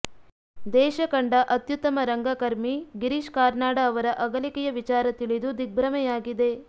ದೇಶ ಕಂಡ ಅತ್ಯುತ್ತಮ ರಂಗಕರ್ಮಿ ಗಿರೀಶ್ ಕಾರ್ನಾಡ ಅವರ ಅಗಲಿಕೆಯ ವಿಚಾರ ತಿಳಿದು ದಿಗ್ಭ್ರಮೆಯಾಗಿದೆ